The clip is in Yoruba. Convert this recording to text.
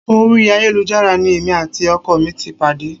Orí ayélujára ni èmi àti ọkọ mi ti pàdé